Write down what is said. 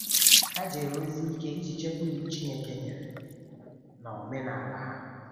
Ha jere ozi ike iji chekwaa Iwu Chineke nyere na omenala ha.